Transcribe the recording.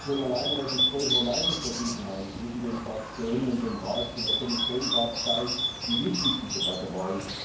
Und schon alleine, dass es größere Meinungsverschiedenheiten zwischen den Fraktionen und dem Rat und der Kommission gab, zeigt, wie wichtig die Debatte war.